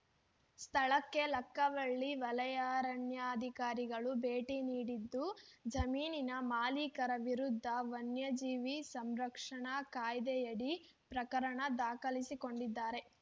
ಸ್ಥಳಕ್ಕೆ ಲಕ್ಕವಳ್ಳಿ ವಲಯಾರಣ್ಯಾಧಿಕಾರಿಗಳು ಭೇಟಿ ನೀಡಿದ್ದು ಜಮೀನಿನ ಮಾಲೀಕರ ವಿರುದ್ಧ ವನ್ಯಜೀವಿ ಸಂರಕ್ಷಣಾ ಕಾಯ್ದೆಯಡಿ ಪ್ರಕರಣ ದಾಖಲಿಸಿಕೊಂಡಿದ್ದಾರೆ